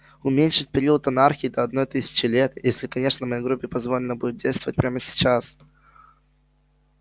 уменьшить период анархии до одной тысячи лет если конечно моей группе позволено будет действовать прямо сейчас